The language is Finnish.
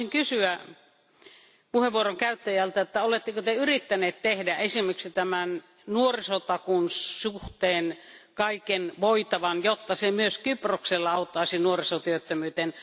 Haluaisin kysyä puheenvuoron käyttäjältä, että oletteko Te yrittäneet tehdä esimerkiksi nuorisotakuun suhteen kaiken voitavan, jotta se myös Kyproksella auttaisi nuorisotyöttömyyteen.